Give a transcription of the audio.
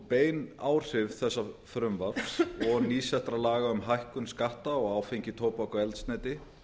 bein áhrif þessa frumvarps og nýsettra laga um hækkun skatta á áfengi tóbak og eldsneyti